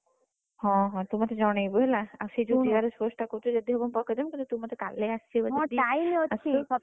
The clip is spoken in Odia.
ହଁ ହଁ ତୁ ମତେ ଜଣେଇବୁ ହେଲା ଆଉ ସେଇ ଯଉ GRS post ଯଦି ହବ ମୁଁ ପକେଇଦେବି ତୁ ମତେ